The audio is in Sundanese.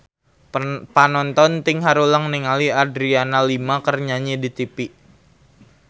Panonton ting haruleng ningali Adriana Lima keur nyanyi di tipi